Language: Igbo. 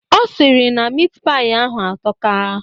Ọ sịrị na mit paị ahụ atọka.